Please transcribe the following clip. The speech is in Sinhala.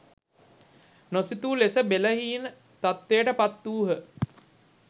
නොසිතූ ලෙස බෙලහීන තත්ත්වයට පත් වූහ